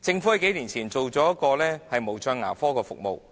政府在數年前設立無障牙科服